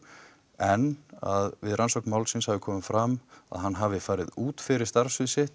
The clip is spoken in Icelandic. en að við rannsókn málsins hafi komið fram að hann hafi farið út fyrir starfssvið sitt